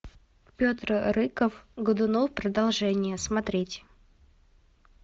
петр рыков годунов продолжение смотреть